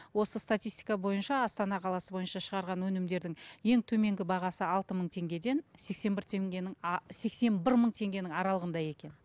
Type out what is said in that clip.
осы статистика бойынша астана қаласы бойынша шығарған өнімдердің ең төменгі бағасы алты мың теңгеден сексен бір теңгенің а сексен бір мың теңгенің аралығында екен